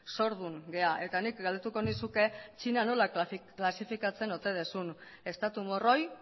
zordun gara nik galdetuko nizuke txina nola klasifikatzen ote duzun estatu morroi